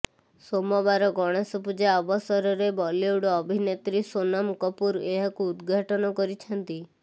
ସୋମବାର ଗଣେଶ ପୂଜା ଅବସରରେ ବଲିଉଡ୍ ଅଭିନେତ୍ରୀ ସୋନମ କପୁର ଏହାକୁ ଉଦଘାଟନ କରିଛନ୍ତି